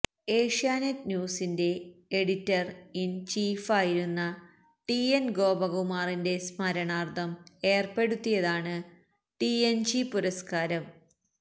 ഏഷ്യാനെറ്റ് ന്യൂസിന്റെ editor in ചീഫായിരുന്ന T N ഗോപകുമാറിന്റെ സ്മരണാര്ത്ഥം ഏര്പ്പെടുത്തിയതാണ് ടിഎന്ജി പുരസ്കാരം